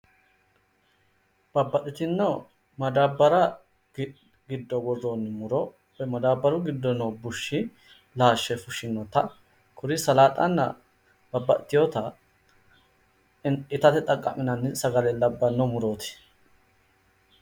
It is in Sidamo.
Babbaxxitino madaabbara giddo worroonni muro woy madaabbaru giddo no bushshi laashshe fushshinota kuri salaaxanna babbaxiteewota itatte xaqqa'minanni sagale labbanno mutooti.